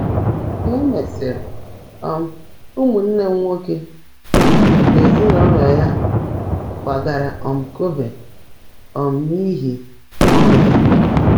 Ka e mesịrị, um nwanne m nwoke na ezinụụlọ ya kwagara um Kobe um n’ihi ọrụ ya.